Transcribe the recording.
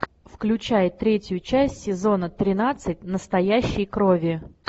включай третью часть сезона тринадцать настоящей крови